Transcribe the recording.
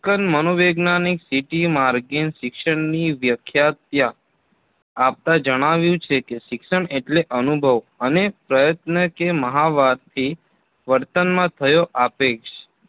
મનોવૈજ્ઞાનિક ct મોર્ગને શિક્ષણની વ્યાખ્યા ત્યાં આપતાં જણાવ્યું છે કે શિક્ષણ એટલે અનુભવ અને પ્રયત્ન કે મહાવરાથી વર્તનમાં થયો આપેક્ષ